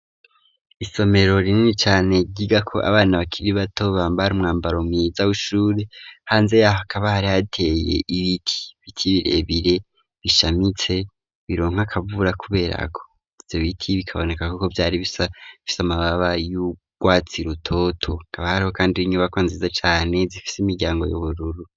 Isomero rinini cane ryigako abana bakiri bato bambara umwambaro mwiza w'ishure hanze yaho hakaba hari hateye ibiti, Ibiti birebire bishamitse bironka akavura kuberako ivyo biti bikaboneka ko vyari bisa bifise amababa y'urwatsi rutoto hakaba hariho kandi n'inyubakwa nziza cane zifise imiryango y'ubururu.